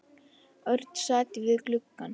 Örn sat við gluggann.